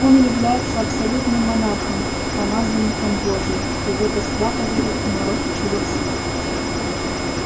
он является абсолютным монархом помазанником божьим и в это свято верят и народ и жрецы